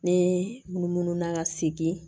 Ne munu na ka segin